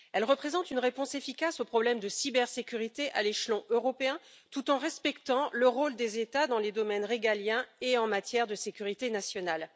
Elle représente une réponse efficace aux problèmes de cybersécurité à l'échelon européen, tout en respectant le rôle des États dans les domaines régaliens et en matière de sécurité nationale.